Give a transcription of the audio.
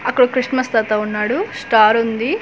అక్కడ ఓ క్రిస్మస్ తాత ఉన్నాడు స్టార్ ఉంది.